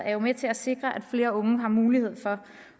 er jo med til at sikre at flere unge har mulighed for